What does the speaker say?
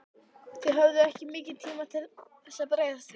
Þið höfðuð ekki mikinn tíma til þess að bregðast við?